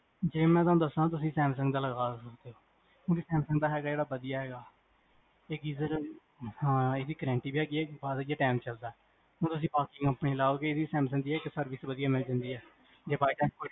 Samsung ਜੇ ਮੈਂ ਤੁਹਾਨੂੰ ਦਸਾਂ, ਤੁਸੀਂ ਦਾ ਲਗਾ, ਹੁਣ ਇਹ ਸੈਮਸੰਗ ਹੈਗਾ ਜੇਹੜਾ ਬਦੀਆ ਹੈਗਾ ਇਹ geaser, ਹਾਂ ਏਦੀ guarntee ਵੀ ਹੈਗੀ ਆ